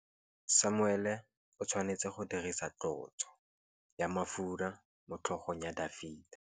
Samuele o tshwanetse go dirisa tlotsô ya mafura motlhôgong ya Dafita.